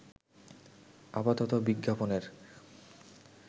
আপাতত বিজ্ঞাপনের